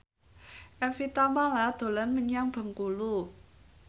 Evie Tamala dolan menyang Bengkulu